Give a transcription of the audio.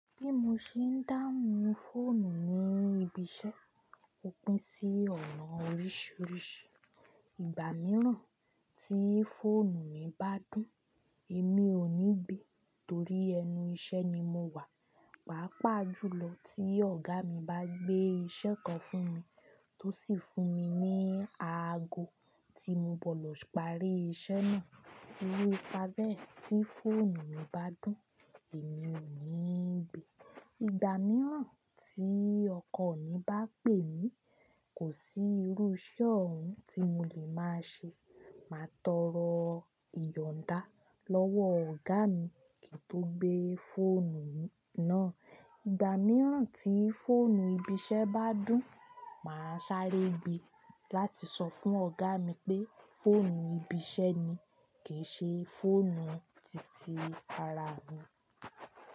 Bí mo ṣe ń dáhùn fóònù ní ibi iṣẹ́, ó pín sí ọ̀nà oríṣiríṣi. Ìgbà mìíràn tí fóònù mi bá dùn, èmi ò ní gbè torí ẹnu iṣẹ́ ni mo wà. Paa pà jùlọ tí ọ̀gá mi bá gbé iṣẹ́ kan fún mi tó sì fún mi ní aago tí mo bọ̀ lọ parí iṣẹ́ náà. Irú ìpábẹ́ẹ̀ tí fóònù mi bá dùn, èmi ò ní gbè. Ìgbà mìíràn tí ọkọ mi bá pè mí, kò sí irú iṣẹ́ ọ̀hún tí mo lè máa ṣe, màá tọrọ ìyọ̀nda lọ́wọ́ ọ̀gá mi kí n tó gbé fóònù náà. Ìgbà mìíràn tí fóònù ibi iṣẹ́ bá dùn, màá sáré gbe láti sọ fún ọ̀gá mi pé fóònù ibi iṣẹ́ ni, kì í ṣe fóònù titi ara mi.